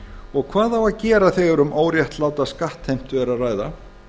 og hvað á að gera þegar um óréttláta skattheimtu er að ræða